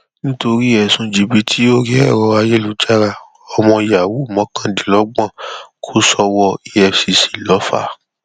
nítorí ẹsùn jìbìtì orí ẹrọ ayélujára ọmọ yahoo mọkàndínlọgbọn kò sọwọ efcc lọfà